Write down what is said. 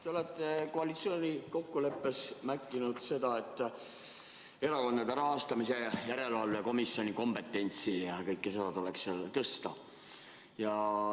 Te olete koalitsioonikokkuleppes märkinud seda, et Erakondade Rahastamise Järelevalve Komisjoni kompetentsi tuleks tõsta.